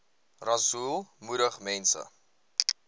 rasool moedig mense